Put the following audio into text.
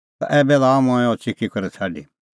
तै ऐबै लाअ मंऐं अह च़िकी करै छ़ाडी